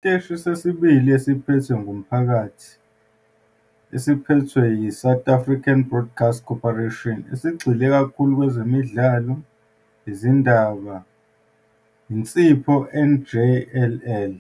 Isiteshi sesibili esiphethwe ngumphakathi esiphethwe yiSouth African Broadcasting Corporation, esigxile kakhulu kwezemidlalo, izindaba, insipho njll.